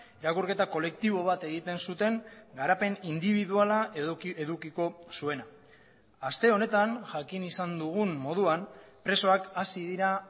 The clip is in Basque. irakurketa kolektibo bat egiten zuten garapen indibiduala edukiko zuena aste honetan jakin izan dugun moduan presoak hasi dira